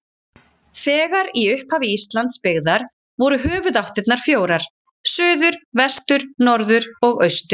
Þegar í upphafi Íslands byggðar voru höfuðáttirnar fjórar: suður, vestur, norður og austur.